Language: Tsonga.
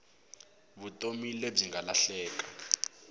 vutomi lebyi nga lahleka